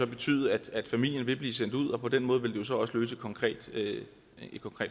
betyde at familien ville blive sendt ud og på den måde ville det så også løse et konkret